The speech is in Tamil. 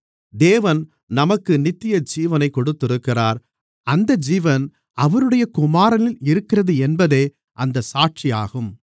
தேவன் நமக்கு நித்தியஜீவனைத் கொடுத்திருக்கிறார் அந்த ஜீவன் அவருடைய குமாரனில் இருக்கிறதென்பதே அந்தச் சாட்சி ஆகும்